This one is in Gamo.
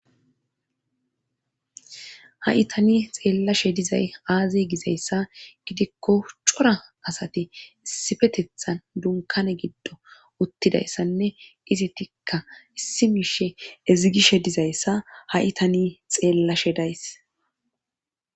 Ha'i tani xeellashe dizay aazi gizayssa gidikko cora asati issifetethan dunkane giddo uttidayssanne ize tikka issi miishe ezigishe dizayssa ha'i tani xeellashe days.